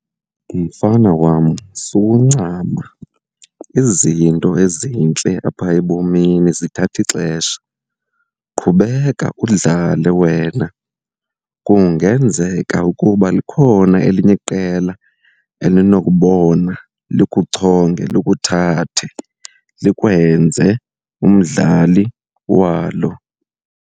Mfana wam, sukuncama, izinto ezintle apha ebomini zithatha ixesha. Qhubeka udlale wena kungenzeka ukuba likhona elinye iqela elinokubona likuchonge likuthathe, likwenze umdlali walo.